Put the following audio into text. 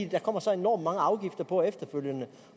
der kommer så enormt mange afgifter på efterfølgende